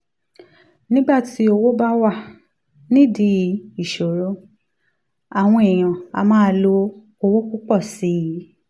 nígbà tí owó bá wà nídìí ìsọ̀rọ̀ àwọn èèyàn á máa lo owó púpọ̀ sí i